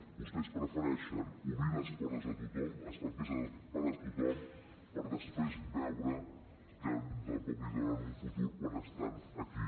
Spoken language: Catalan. vostès prefereixen obrir les portes a tothom els papers per a tothom per després veure que tampoc els donen un futur quan estan aquí